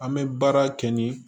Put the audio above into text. An bɛ baara kɛ nin